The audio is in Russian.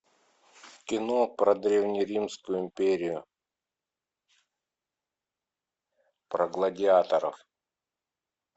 кино про древнеримскую империю про гладиаторов